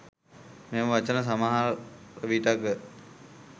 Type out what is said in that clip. මෙම වචන සමහර විටක